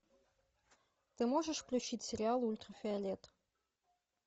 ты можешь включить сериал ультрафиолет